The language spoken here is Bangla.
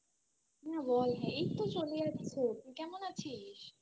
বল এইত্তো চলে যাচ্ছে কেমন আছিস